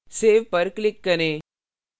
save click करें